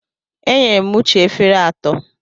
Enyere m Uche efere atọ.